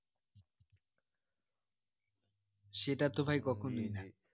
সেটা তো ভাই কখনোই না